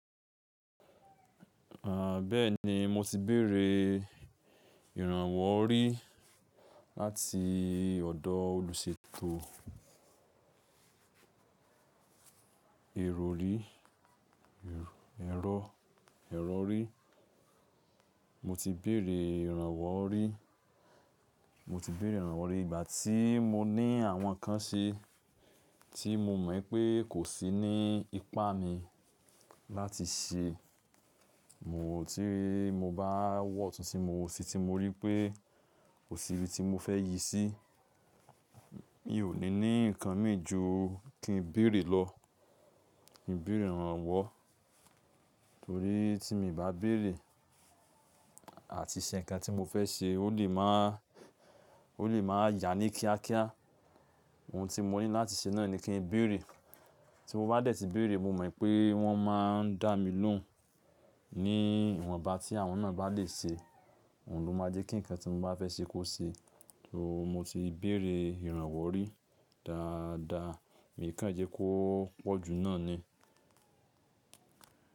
À, bẹ́ẹ̀ni mo ti béèrè ìrànwọ́ rí láti ọ̀dọ́ olùṣètò ìrọ̀rí-ero-erori. Mo ti béèrè ìrànwọ́ rí, mo ti béèrè ìrànwọ́ rí ìgbà tí mo ní àwọn ǹnkan ṣe tí mo mọ̀ wipé kò sí ní ipá mi láti ṣe. Mo ti, mo bá wọ̀ ọ̀tún ti mo wọ̀ òsì tí mo rí pé ko sí ibi tí mo fẹ́ yí sí, mi ò ní ní ǹnkan mì ju kí n béèrè lọ. Mi n béèrè ìrànwọ́ torí tí mi i bá béèrè àti ṣe ǹnkan tí mo fẹ́ ṣe, ó lè máa, ó lè máa yá ní kíákíá. Ohun tí mo ní láti ṣe náà ni kí n béèrè. Tí mo bá dẹ̀ ti béèrè mo mọ̀ pé wọ́n má a ń dá mi lóhùn ní ìwọ̀nba tí àwọn náà bá lè ṣe. Òun ló máa jẹ́ kí ǹkan tí mo bá fẹ́ ṣe kó ṣe. So mo ti béèrè ìrànwọ́ rí dáadáa, mi kàńjẹ́ ko poju náà ni.